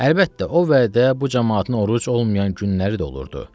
Əlbəttə, o vədə bu camaatın oruc olmayan günləri də olurdu.